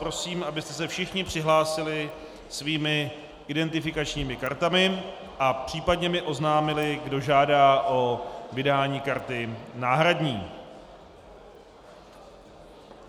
Prosím, abyste se všichni přihlásili svými identifikačními kartami a případně mi oznámili, kdo žádá o vydání karty náhradní.